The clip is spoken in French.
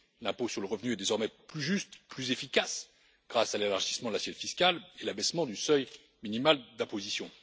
L'impôt sur le revenu est désormais plus juste, plus efficace grâce à l'élargissement de l'assiette fiscale et l'abaissement du seuil minimal d'imposition.